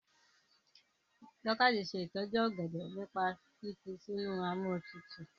Dorcas se itoju ògèdè nípa fífi sínú Amóhuntutù.